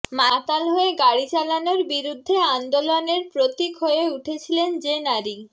মাতাল হয়ে গাড়ি চালানোর বিরুদ্ধে আন্দোলনের প্রতীক হয়ে উঠেছিলেন যে নারী